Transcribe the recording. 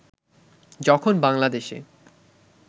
যখন বাংলাদেশে